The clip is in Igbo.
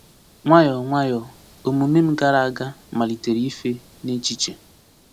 Nwayọ nwayọ, omume m gara aga malitere ife n’echiche.